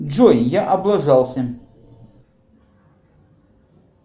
джой я облажался